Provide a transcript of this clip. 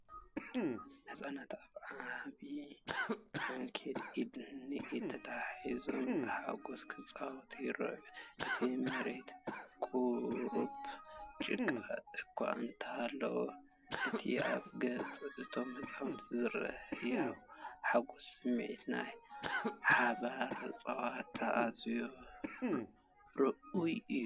ህጻናት ኣብ ዓቢ ዓንኬል፡ ኢድ ንኢድ ተተሓሒዞም ብሓጎስ ክጻወቱ ይረኣዩ። እቲ መሬት ቁሩብ ጭቃ እኳ እንተሃለዎ፡ እቲ ኣብ ገጽ እቶም ህጻናት ዝረአ ህያው ሓጎስን ስምዒት ናይ ሓባር ጸወታን ኣዝዩ ርኡይ እዩ።